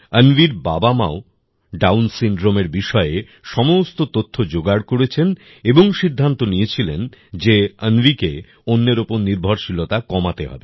অন্বির বাবামাও ডাউন সিনড্রোমএর বিষয়ে সমস্ত তথ্য যোগাড় করেছেন এবং সিদ্ধান্ত নিয়েছিলেন যে অন্বিকে অন্যের ওপর নির্ভরশীলতা কমাতে হবে